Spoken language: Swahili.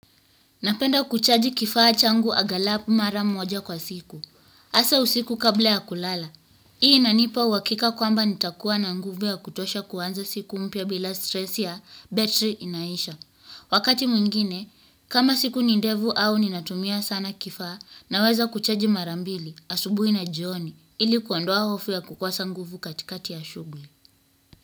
Napenda kuchaji kifaa changu aghalabu mara moja kwa siku. Hasa usiku kabla ya kulala. Hii inanipa uhakika kwamba nitakuwa na nguvu ya kutosha kuanza siku mpya bila stress ya betri inaisha. Wakati mwingine, kama siku ni ndefu au ninatumia sana kifaa naweza kuchaji mara mbili asubuhi na jioni ili kuondoa hofu ya kukosa nguvu katikati ya shughuli.